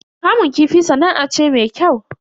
Kamun kifi sana'a ce me kyau.